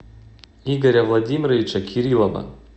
игоря владимировича кириллова